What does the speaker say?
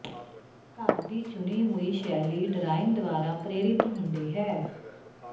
ਘਰ ਦੀ ਚੁਣੀ ਹੋਈ ਸ਼ੈਲੀ ਡਰਾਇੰਗ ਦੁਆਰਾ ਪ੍ਰੇਰਿਤ ਹੁੰਦੀ ਹੈ